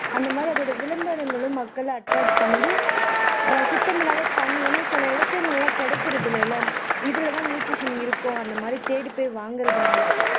அந்த மாதிரி அந்த விளம்பரங்களும் மக்களை attract பண்ணுது சுத்தமில்லாத தண்ணி ஏன்னா சில இடத்துகள்ள கிடைக்கிறது இல்ல இல்ல இதுலதான் nutrition இருக்கும் அந்த மாதிரி தேடிப்போய் வாங்குறதுனால